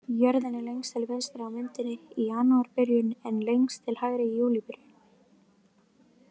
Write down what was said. Jörðin er lengst til vinstri á myndinni í janúarbyrjun en lengst til hægri í júlíbyrjun.